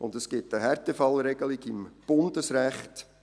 Und es gibt eine Härtefallregelung im Bundesrecht.